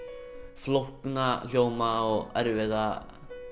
flókna hljóma og erfiðar